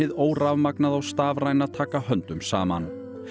órafmagnaða og stafræna taka höndum saman